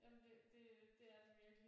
Jamen det det det er den virkelig